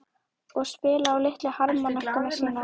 Og spila á litlu harmónikkuna sína?